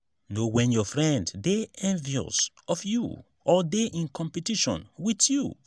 know when your friend de envious of you or de in competition with you